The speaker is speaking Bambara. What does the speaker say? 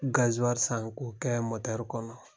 i san k'o o kɛ kɔnɔ.